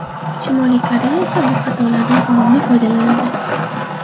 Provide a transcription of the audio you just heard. Shimoliy Koreya esa bu xatolardan unumli foydalandi”.